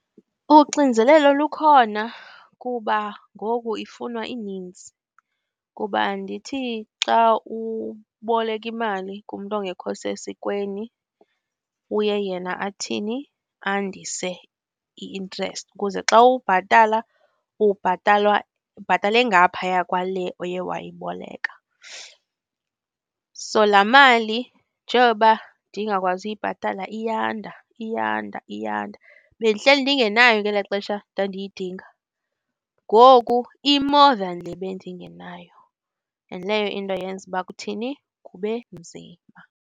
Uxinzelelo lukhona kuba ngoku ifunwa ininzi, kuba andithi xa uboleka imali kumntu ongekho sesikweni uye yena athini? Andise i-interest ukuze xa ubhatala ubhatalwa, ubhatala engapahaya kwale oye wayiboleka. So, laa mali njengoba ndingakwazi uyibhatala, iyanda, iyanda, iyanda. Bendihleli ndingenayo ngelaa xesha ndandiyidinga. Ngoku i-more than le bendingenayo and leyo into yenza uba kuthini? Kube nzima.